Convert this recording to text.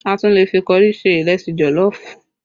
A tún lè fi kọrí ṣe ìrẹsì jọ̀lọ́ọ̀fù